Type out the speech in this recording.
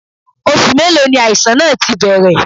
Oṣù mélòó ni àìsàn náà ti bẹ̀rẹ̀?